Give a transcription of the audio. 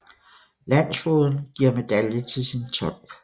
Landsfogeden giver medalje til sin tolk